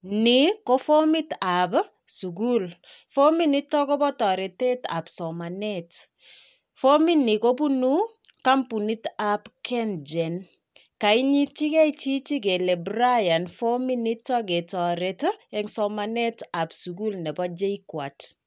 Ni ko fomit sukul. Fominitok kobo toretetap somanet. Fomini kobunu kompunitap Kengen. Kainyityigei chichi kele Brian fominitok ketoret eng somanet ap sukul nebo JKUAT.